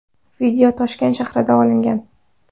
Video Toshkent shahrida olingan.